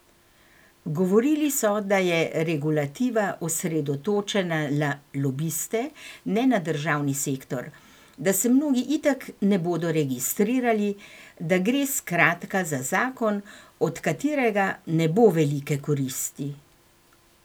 Govorili so, da je regulativa osredotočena na lobiste, ne na državni sektor, da se mnogi itak ne bodo registrirali, da gre, skratka, za zakon, od katerega ne bo velike koristi.